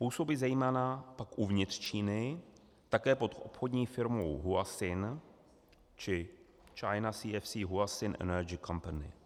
Působí, zejména pak uvnitř Číny, také pod obchodní firmou Huaxin či China CEFC Huaxin Energy Company.